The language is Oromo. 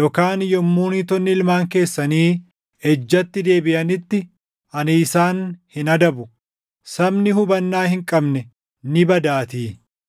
yookaan yommuu niitonni ilmaan keessanii ejjatti deebiʼanitti ani isaan hin adabu; sabni hubannaa hin qabne ni badaatii!